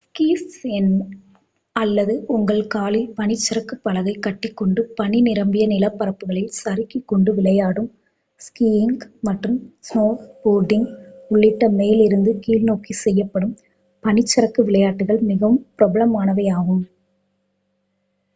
squeeze கொண்டு அல்லது உங்கள் காலில் பனிச்சறுக்கு பலகை கட்டிக்கொண்டு பனி நிரம்பிய நிலப்பரப்புகளில் சறுக்கிக் கொண்டு விளையாடும் ஸ்கீயிங்க் மற்றும் ஸ்னோபோர்டிங்க் உள்ளிட்ட மேலிருந்து கீழ்நோக்கி செய்யப்படும் பனிச்சறுக்கு விளையாட்டுகள் மிகவும் பிரபலமானவையாகும்